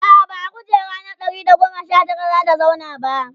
a'a ba a kujera na Ɗari da goma Sha Tara zata zauna ba